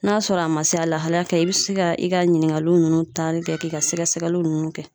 N'a sɔrɔ a ma se, a lahala kan ɲi, i bɛ se ka i ka ɲininkali ninnu taali kɛ k'i ka sɛgɛsɛgɛli ninnu kɛ.